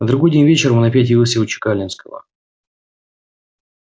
на другой день вечером он опять явился у чекалинского